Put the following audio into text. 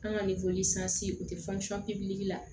An ka u tɛ la